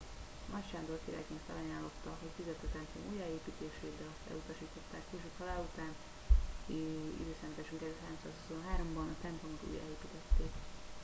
nagy sándor királyként felajánlotta hogy fizeti a templom újjáépítését de ezt elutasították később halála után i.e. 323 ban a templomot újjáépítették